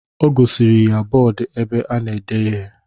O gosiri ya bọọdu ebe a na-ede ihe.